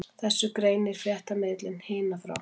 Þessu greinir fréttamiðillinn Hina frá